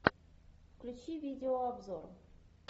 включи видео обзор